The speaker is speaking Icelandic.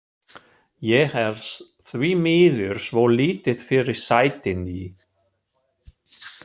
Ég er því miður svo lítið fyrir sætindi.